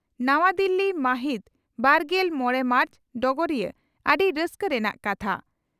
ᱱᱟᱣᱟ ᱫᱤᱞᱤ ᱢᱟᱹᱦᱤᱛᱵᱟᱨᱜᱮᱞ ᱢᱚᱲᱮ ᱢᱟᱨᱪ (ᱰᱚᱜᱚᱨᱤᱭᱟᱹ) ᱺ ᱟᱹᱰᱤ ᱨᱟᱹᱥᱠᱟᱹ ᱨᱮᱱᱟᱜ ᱠᱟᱛᱷᱟ